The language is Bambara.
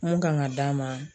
Mun kan ka d'a ma